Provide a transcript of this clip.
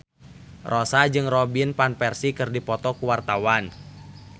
Rossa jeung Robin Van Persie keur dipoto ku wartawan